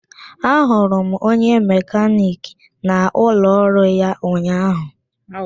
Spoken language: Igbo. Ahụrụ m onye mekaniki n'ụlọ ọrụ ya ụnyahụ